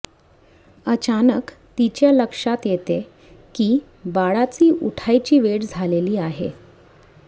अचानक तीच्या लक्षात येते की बाळाची उठायची वेळ झालेली आहे